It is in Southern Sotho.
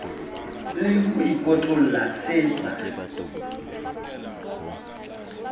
le ho ikotlolla se sa